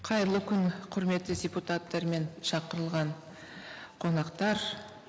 қайырлы күн құрметті депутаттар мен шақырылған қонақтар